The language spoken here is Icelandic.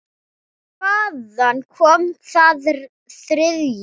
Hvaðan kom það þriðja?